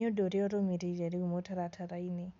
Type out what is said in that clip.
Nĩ ũndũ ũrĩa ũrũmĩrĩire rĩu mũtaratara-inĩ